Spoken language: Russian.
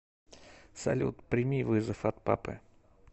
салют прими вызов от папы